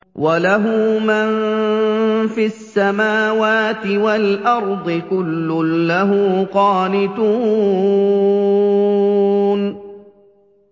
وَلَهُ مَن فِي السَّمَاوَاتِ وَالْأَرْضِ ۖ كُلٌّ لَّهُ قَانِتُونَ